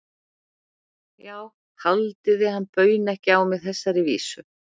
Já, haldið þið að hann bauni ekki á mig þessari vísu?